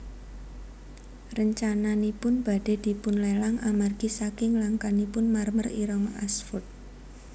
Rencananipun badhé dipunlelang amargi saking langkanipun marmer ireng Ashford